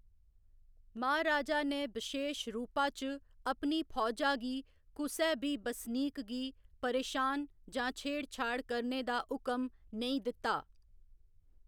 महाराजा ने बशेश रूपा च अपनी फौजा गी कुसै बी बसनीक गी परेशान जां छेड़ छाड़ करने दा हुकम नेईं दित्ता।